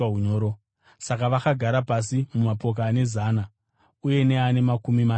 Saka vakagara pasi mumapoka ane zana uye neane makumi mashanu.